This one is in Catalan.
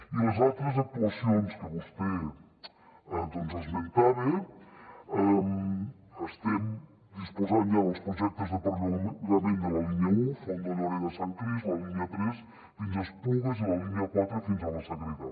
i a les altres actuacions que vostè esmentava estem disposant ja dels projectes de perllongament de la línia un fondo lloreda sant crist la línia tres fins a esplugues i la línia quatre fins a la sagrera